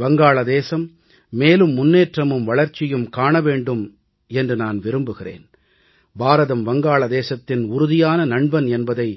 வங்காளதேசம் மேலும் முன்னேற்றமும் வளர்ச்சியும் காண வேண்டும் என்று நான் விரும்புகிறேன் பாரதம் வங்காளதேசத்தின் உறுதியான நண்பன் என்பதை